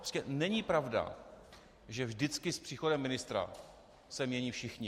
Prostě není pravda, že vždycky s příchodem ministra se mění všichni.